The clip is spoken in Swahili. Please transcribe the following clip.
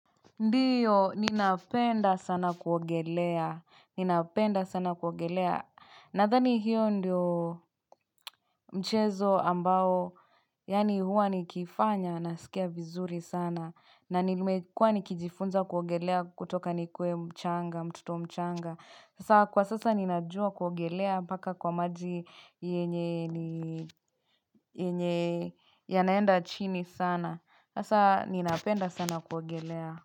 Ndiyo, ninapenda sana kuogelea, ninapenda sana kuogelea Nadhani hiyo ndiyo mchezo ambao Yaani huwa nikiifanya nasikia vizuri sana na nimekua nikijifunza kuogelea kutoka nikuwe mchanga, mtoto mchanga Sasa kwa sasa ninajua kuogelea paka kwa maji yenye yanaenda chini sana Sasa ninapenda sana kuogelea.